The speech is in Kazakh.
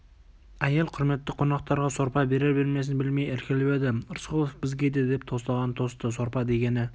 әйел құрметті қонақтарға сорпа берер-бермесін білмей іркіліп еді рысқұлов бізге де деп тостаған тосты сорпа дегені